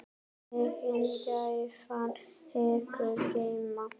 Megi gæfan ykkur geyma.